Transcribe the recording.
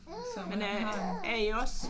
Så han har en